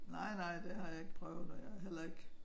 Nej nej det har jeg ikke prøvet og jeg har heller ik